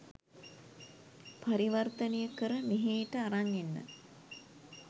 පරිවර්තනය කර මෙහේට අරන් එන්න.